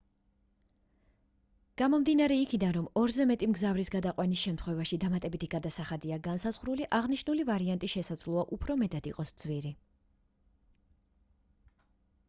გამომდინარე იქედან რომ 2-ზე მეტი მგზავრის გადაყვანის შემთხვევაში დამატებითი გადასახადია განსაზღვრული აღნიშნული ვარიანტი შესაძლოა უფრო მეტად იყოს ძვირი